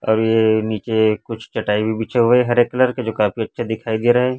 अब ये नीचे कुछ चटाई भी बिछे हुए हैं हरे कलर के जो काफी अच्छे दिखाई दे रहे